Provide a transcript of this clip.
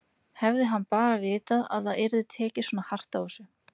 Hefði hann bara vitað að það yrði tekið svona hart á þessu!